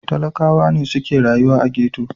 Talakawa ne suke rayuwa a ghetto.